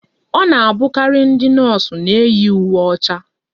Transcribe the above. Ọ na-abụkarị ndị nọọsụ na-eyi uwe ọcha